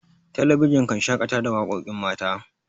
talabijin kan shakata da waƙoƙin mata